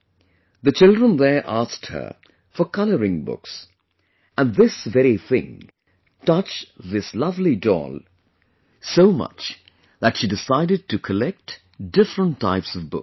The children there asked her for 'Colouring Books', and this very thing touched this lovely doll so much that she decided to collect different types of books